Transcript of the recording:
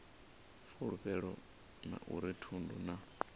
fulufhelo a uri thundu na